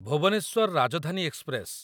Bhubaneswar Rajdhani express